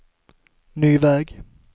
ny väg